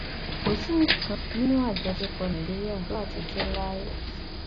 kò sí nǹkan kan nínú àjọṣepọ nàìjíríà tó wà títí láé